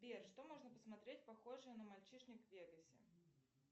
сбер что можно посмотреть похожее на мальчишник в вегасе